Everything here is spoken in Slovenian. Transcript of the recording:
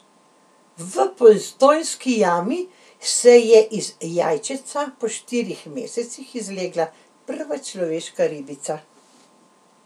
V Postojnski jami se je iz jajčeca po štirih mesecih izlegla prva človeška ribica.